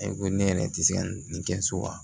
Ayi ko ne yɛrɛ tɛ se ka nin kɛ so wa